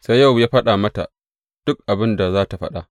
Sai Yowab ya faɗa mata duk abin da za tă faɗa.